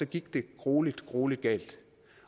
gik det gruelig gruelig galt